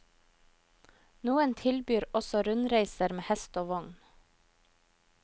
Noen tilbyr også rundreiser med hest og vogn.